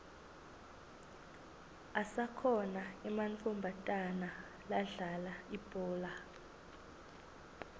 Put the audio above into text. asakhona ematfomatana ladlala ibhola